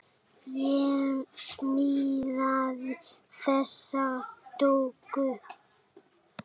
Ég smíðaði þessa dúkku.